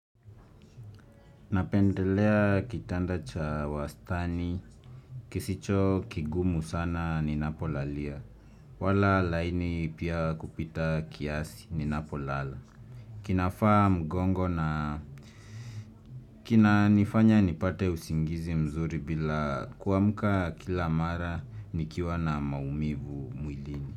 Napendelea kitanda cha wastani kisicho kigumu sana ni napolalia wala laini pia kupita kiasi ninapolala kinafaa mgongo na kina nifanya nipate usingizi mzuri bila kuamuka kila mara nikiwa na maumivu.